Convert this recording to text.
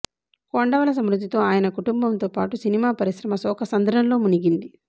కొండవలస మృతితో ఆయన కుటుంబంతో పాటు సినిమా పరిశ్రమ శోఖ సంద్రంలో మునిగింది